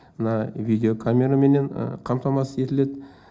мына видеокамераменен қамтамасыз етіледі